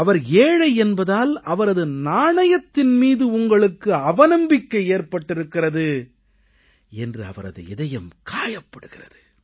அவர் ஏழை என்பதால் அவரது நாணயத்தின் மீது உங்களுக்கு அவநம்பிக்கை ஏற்பட்டிருக்கிறது என்று அவரது இதயம் காயப் படுகிறது